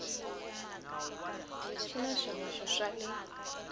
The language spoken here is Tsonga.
xi na swihoxo swa le